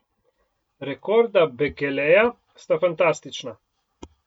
Rekorda Bekeleja sta fantastična.